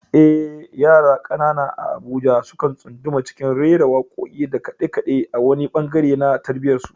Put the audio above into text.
Eh, yara kanana a Abuja sukan tsunduma cikin rera wakoki da kade-kade a wani bangare na tarbiyyarsu.